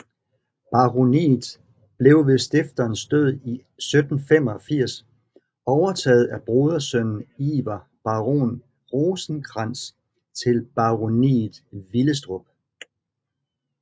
Baroniet blev ved stifterens død i 1785 overtaget af brodersønnen Iver baron Rosenkrantz til baroniet Willestrup